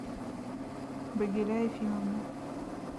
багиля ефимовна